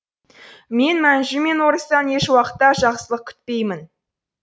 мен мәнжу мен орыстан ешуақытта жақсылық күтпеймін